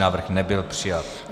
Návrh nebyl přijat.